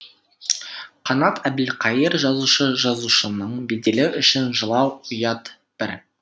қанат әбілқаи ыр жазушы жазушының беделі үшін жылау ұят бір